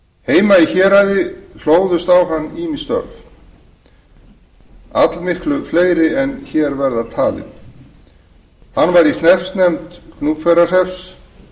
heima í héraði hlóðust á hann ýmis störf allmiklu fleiri en hér verða talin hann var í hreppsnefnd gnúpverjahrepps